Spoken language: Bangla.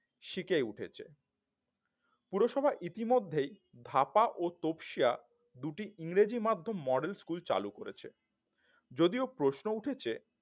সিকেই উঠেছে পুরসভায় ইতিমধ্যে ধাপা ও তোপসিয়া দুটি ইংরেজি মাধ্যম model স্কুল চালু করেছে যদিও প্রশ্ন উঠেছে